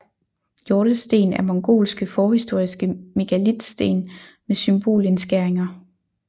Hjortesten er mongolske forhistoriske megalitsten med symbolindskæringer